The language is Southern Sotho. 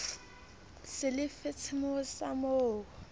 se le fatshemoo sa mo